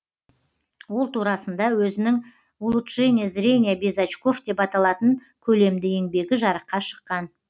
ол турасында өзінің улучшение зрения без очков деп аталатын көлемді еңбегі жарыққа шыққан